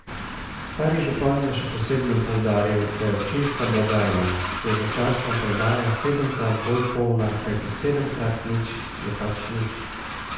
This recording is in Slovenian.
Stari župan je še posebno poudaril, da je občinska blagajna, ki jo začasno predaja, sedemkrat bolj polna, kajti sedemkrat nič je pač nič.